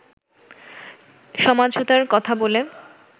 সমাঝোতার কথা বলে